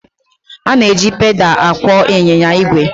A na-eji pedaal akwọ ịnyịnya igwe.